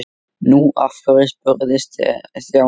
Nú, af hverju? spurði Stjáni.